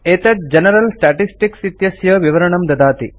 एतत् general statistics इत्यस्य विवरणं ददाति